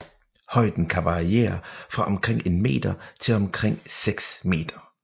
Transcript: Højden kan variere fra omkring en meter til omkring seks meter